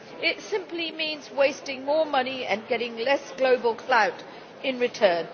It simply means wasting more money and getting less global clout in return.